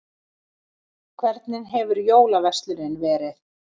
Hvernig hefur jólaverslunin verið?